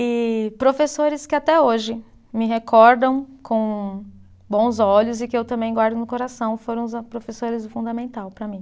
E professores que até hoje me recordam com bons olhos e que eu também guardo no coração, foram os professores do fundamental para mim.